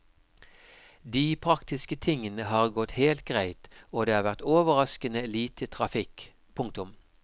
De praktiske tingene har gått helt greit og det har vært overraskende lite trafikk. punktum